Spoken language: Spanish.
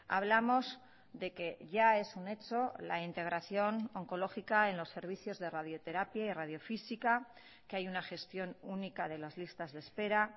hablamos de que ya es un hecho la integración oncológica en los servicios de radioterapia y radiofísica que hay una gestión única de las listas de espera